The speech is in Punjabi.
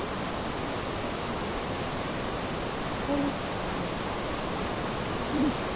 ਅੱਛਾ ਜੀ ਹਮ